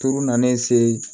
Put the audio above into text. Turu nalen se